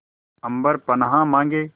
अम्बर पनाहे मांगे